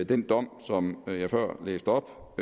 den dom som jeg før læste op